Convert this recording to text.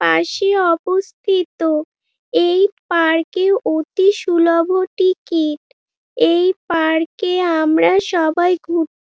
পাশে উপস্থিত এই পার্ক - এ অতি সুলভ টিকিট এই পার্ক - এ আমরা সবাই ঘুর--